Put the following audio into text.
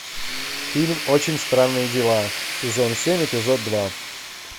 фильм очень странные дела сезон семь эпизод два